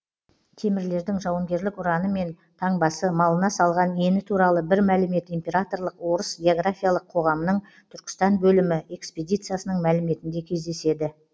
темірлердің жауынгерлік ұраны мен таңбасы малына салған ені туралы бір мәлімет императорлық орыс географиялық қоғамының түркістан бөлімі экспедициясының мәліметінде кездеседі